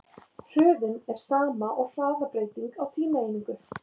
Hröðun er sama og hraðabreyting á tímaeiningu.